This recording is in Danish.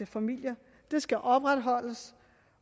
familier det skal opretholdes